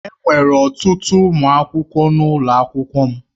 Enwere ọtụtụ ụmụ akwụkwọ n'ụlọ akwụkwọ m.